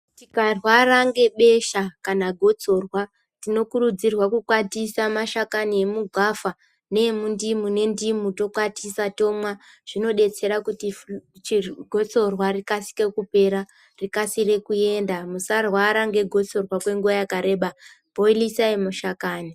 Tikarwara ngebesha kana gotsorwa tinokurudzirwa kukwatisa mashakani emugwavha neemundimu nendimu tokwatisa tomwa zvinodetsera kuti gotsorwa rikasire kupera rikasire kuenda musarwara negotsorwa nguwa yakareba bhoilisai mashakani.